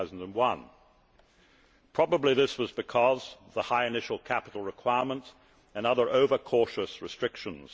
2001. Probably this was because of the high initial capital requirement and other over cautious restrictions.